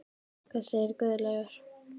Hvað segir Guðlaugur?